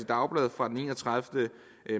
dagblad fra den enogtredivete